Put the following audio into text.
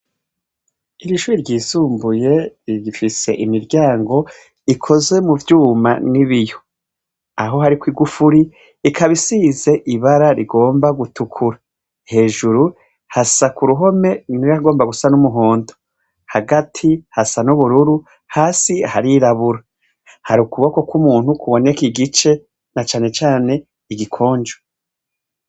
Iryo shure ryisumbuye rigifise imiryango ikozwe mu vyuma n'ibiyo. Aho hariko igufuri ikaba isize ibara rigomba gutukura. Hejuru, hasa kuruhome ibara rigomba gusa n'umuhondo. Hagati hasa n'ubururu, hasi harirabura. Hari ukuboko k'umuntu kuboneka igice, na cane cane igikonjo.